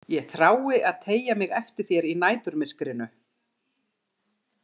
Ég þrái að teygja mig eftir þér í næturmyrkrinu.